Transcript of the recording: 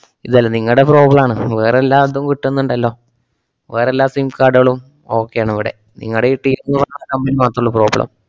ഇതല്ലാ നിങ്ങടെ problem ആണ് വേറെല്ലാടത്തും വിട്ടുന്നുണ്ടല്ലോ. വേറെല്ലാ SIM card കളും okay ആണിവിടെ. നിങ്ങടെയീ ന്ന് പറഞ്ഞ company മാത്രുള്ളൂ problem